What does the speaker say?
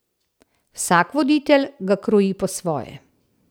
Vsak voditelj ga kroji po svoje.